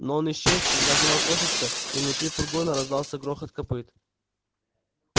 но он исчез из заднего окошечка и внутри фургона раздался грохот копыт